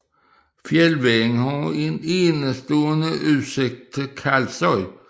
Fjeldvejen har en enestående udsigt til Kalsoy